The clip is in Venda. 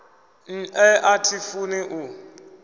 nṋe a thi funi u